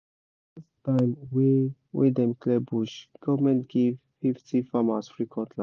for the last time wey wey dem clear bush government give fifty farmers free cutlass